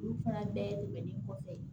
Olu fana dayɛlɛlen kɔfɛ